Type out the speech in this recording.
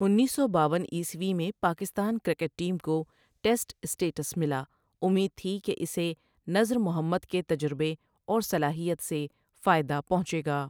انیس سو باون عیسوی میں پاکستان کرکٹ ٹیم کو ٹیسٹ سٹیٹس ملا امید تھی کہ اسے نذر محمد کے تجربے اور صلاحیت سے فائدہ پہنچے گا ۔